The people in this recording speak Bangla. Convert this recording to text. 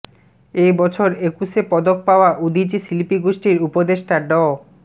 এ বছর একুশে পদক পাওয়া উদীচী শিল্পীগোষ্ঠীর উপদেষ্টা ড